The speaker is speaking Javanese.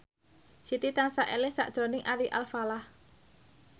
Siti tansah eling sakjroning Ari Alfalah